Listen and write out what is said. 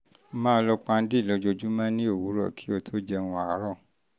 máa lo pan-d lójoojúmọ́ ní òwúrọ̀ kí o tó jẹun àárọ̀